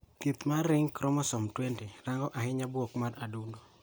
Thieth mar ring chromosome 20 rango ahinya gayo buok mar adundo.